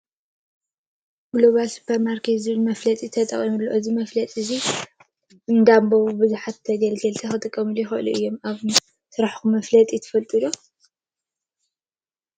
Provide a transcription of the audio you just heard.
ጉሎባል ስፖርማርኬት ዝብል መፋለጢ ተጠቅሙ ሎ::? እዚ መፋለጢ እዚ እንዳንበበ ብዝሕ ተገልገላይ ክጠቅሞ ይክእል እዩ::ኣብ ስራሕኩም መፋለጢ ትጥቀሙ ዶ ?